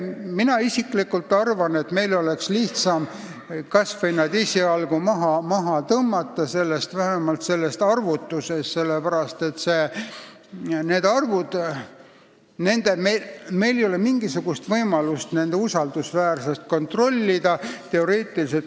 Mina isiklikult arvan, et meil oleks lihtsam nad kas või esialgu maha tõmmata, vähemalt sellest arvutusest, sest meil ei ole mingisugust võimalust nende arvude usaldusväärsust kontrollida.